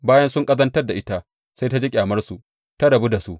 Bayan sun ƙazantar da ita, sai ta ji ƙyamarsu, ta rabu da su.